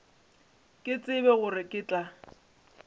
ke tsebe gore ke tla